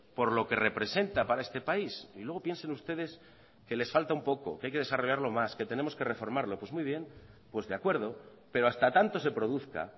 por lo que representa para este país y luego piensen ustedes que les falta un poco que hay que desarrollarlo más que tenemos que reformarlo pues muy bien pues de acuerdo pero hasta tanto se produzca